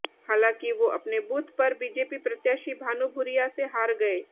हालांकि वो अपने बूथ पर बीजेपी प्रत्याशी भानु भूरिया से हार गए